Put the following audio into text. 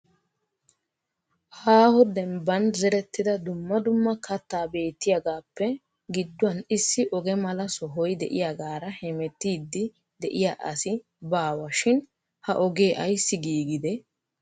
Aaho dembban zerettida dumma dumma kattaa beettiyagappe gidduwan issi oge mala sohoy de'iyaagara hemettiddi de'iya asi baawa shin ha oge ayssi giigide?